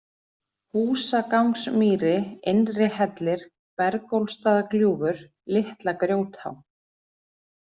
Húsagangsmýri, Innrihellir, Bergólfsstaðagljúfur, Litla-Grjótá